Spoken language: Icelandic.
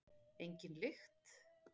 Engin lykt.